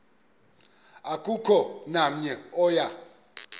akukho namnye oya